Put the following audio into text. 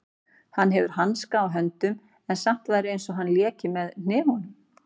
Hann hefði hanska á höndum en samt væri einsog hann léki með hnefunum.